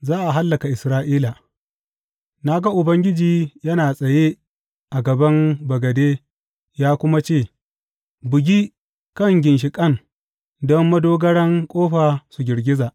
Za a hallaka Isra’ila Na ga Ubangiji yana tsaye a gaban bagade, ya kuma ce, Bugi kan ginshiƙan don madogaran ƙofa su girgiza.